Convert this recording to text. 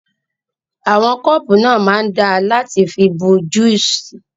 Àwọn kọ́pù náà máa da láti fi bu júsì.